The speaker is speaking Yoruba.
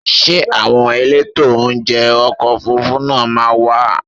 Ṣé àwọn elétò oúnjẹ ọkọ̀ Òfurufú náà máa wá?